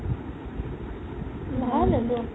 ভাল এইবোৰ